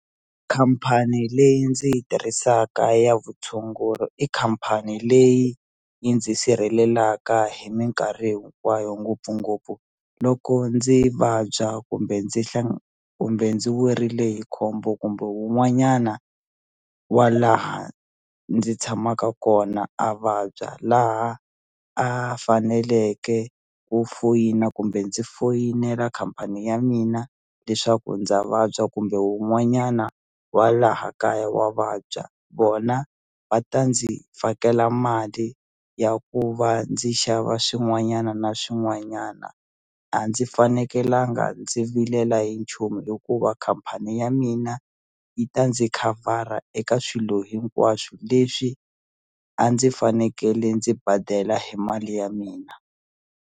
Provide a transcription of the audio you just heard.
Khampani leyi ndzi yi tirhisaka ya vutshunguri i khampani leyi yi ndzi sirhelelaka hi minkarhi hinkwayo ngopfungopfu loko ndzi vabya kumbe ndzi kumbe ndzi werile hi khombo kumbe wun'wanyana wa laha ndzi tshamaka kona a vabya laha a faneleke ku foyina kumbe ndzi foyinela khampani ya mina leswaku ndza vabya kumbe wun'wanyana wa laha kaya wa vabya vona va ta ndzi fakela mali ya ku va ndzi xava swin'wanyana na swin'wanyana a ndzi fanekelanga ndzi vilela hi nchumu hikuva khampani ya mina yi ta ndzi khavhara eka swilo hinkwaswo leswi a ndzi fanekele ndzi badela hi mali ya mina.